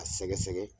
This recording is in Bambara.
A sɛgɛsɛgɛ